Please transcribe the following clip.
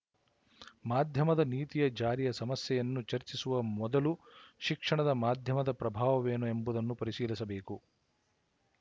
ಮಾಧ್ಯಮದ ನೀತಿಯ ಜಾರಿಯ ಸಮಸ್ಯೆಯನ್ನು ಚರ್ಚಿಸುವ ಮೊದಲು ಶಿಕ್ಷಣ ಮಾಧ್ಯಮದ ಪ್ರಭಾವವೇನು ಎಂಬುದನ್ನು ಪರಿಶೀಲಿಸಬೇಕು